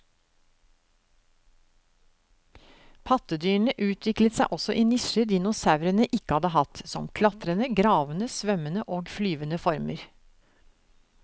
Pattedyrene utviklet seg også i nisjer dinosaurene ikke hadde hatt, som klatrende, gravende, svømmende og flyvende former.